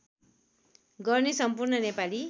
गर्ने सम्पूर्ण नेपाली